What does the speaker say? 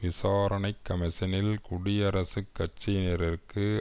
விசாரணை கமிஷனில் குடியரசுக் கட்சியினருக்கு